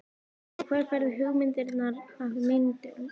Og hvar færðu hugmyndirnar að myndunum?